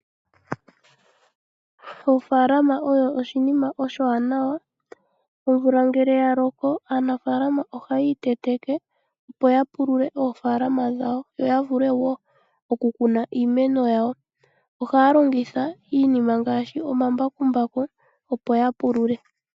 Ofaalaama oyo oshinima oshiwanawa. Omvula ngele yaloko, aanafaalama ohayii teteke opo yapulule oofalama dhawo, yo yavule wo okukuna iimeno yawo. Ohaya longitha iinima ngaashi omambakumbaku, opo ya pulule.